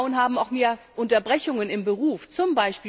Frauen haben auch mehr Unterbrechungen im Beruf, z.